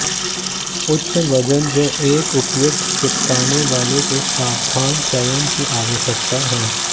उच्च वजन जो एक उपयुक्त चिपकने वाला से सावधान चयन की आवश्यकता है